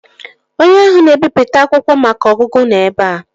Onye ahụ na-ebipụta akwụkwọ maka ọgụgụ nọ ebea